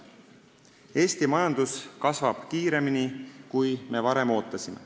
Eesti majandus kasvab kiiremini, kui me varem ootasime.